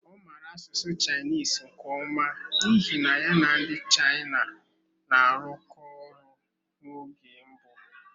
Ọ maara asụsụ Chinese nke ọma n'ihi na ya na ndị China na-arụkọ ọrụ n'oge mbụ.